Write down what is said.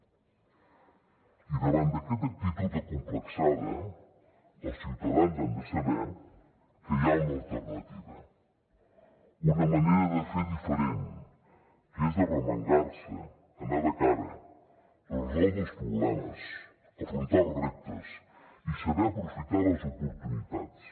i davant d’aquesta actitud acomplexada els ciutadans han de saber que hi ha una alternativa una manera de fer diferent que és arremangar se anar de cara resoldre els problemes afrontar els reptes i saber aprofitar les oportunitats